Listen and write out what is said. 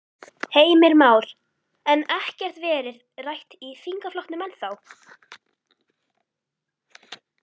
Heimir Már: En ekkert verið rætt í þingflokknum ennþá?